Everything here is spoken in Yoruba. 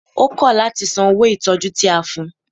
Ó kọ̀ láti san owó ìtọjú tí a fún ùn.